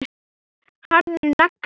Harður nagli.